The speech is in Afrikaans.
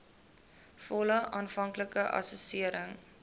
volle aanvanklike assessering